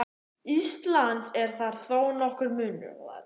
Íslands er þar þó nokkur munur.